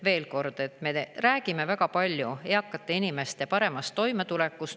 Veel kord: me räägime väga palju eakate inimeste paremast toimetulekust.